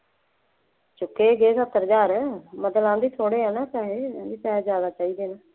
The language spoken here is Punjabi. ਚੁੱਕੇ ਛੇ ਸੱਤ ਹਜ਼ਾਰ ਮਤਲਬ ਆਹ ਵੀ ਥੋੜ੍ਹੇ ਹੈ ਨਾ, ਪੈਸੇ, ਉਹਨੂੰ ਪੈਸੇ ਜ਼ਿਆਦਾ ਚਾਹੀਦੇ ਹੈ